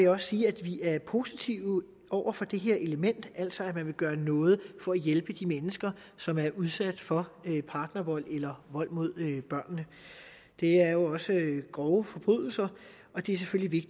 også sige at vi er positive over for det element at man altså vil gøre noget for at hjælpe de mennesker som er udsat for partnervold eller vold mod børnene det er jo også grove forbrydelser og det er selvfølgelig